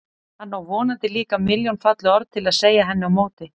Hann á vonandi líka milljón falleg orð til að segja henni á móti.